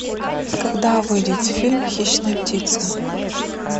когда выйдет фильм хищная птица